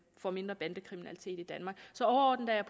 får mindre bandekriminalitet i danmark så overordnet er